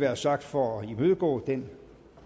være sagt for at imødegå den